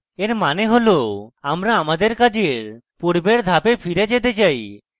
এর means হল আমরা আমাদের কাজের পূর্বের ধাপে ফিরে যেতে চাই